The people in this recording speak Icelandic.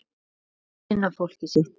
Og kynna fólkið sitt.